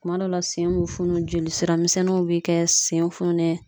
Kuma dɔw la sen be funu ,joli sira misɛnninw be kɛ sen fununen